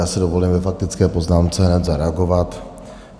Já si dovolím ve faktické poznámce hned zareagovat.